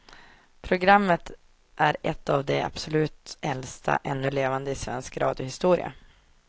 Programmet är ett av de absolut äldsta ännu levande i svensk radiohistoria.